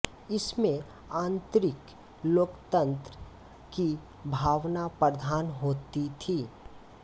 इसमें आंतरिक लोकतंत्र की भावना प्रधान होती थी